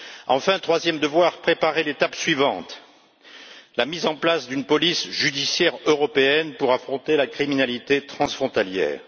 Enfin, troisième devoir préparer l'étape suivante, à savoir la mise en place d'une police judiciaire européenne pour affronter la criminalité transfrontalière.